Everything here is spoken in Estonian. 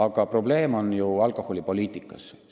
Aga probleem on alkoholipoliitikas.